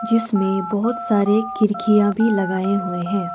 जिसमें बहुत सारे खिड़कियां भी लगाए हुए है।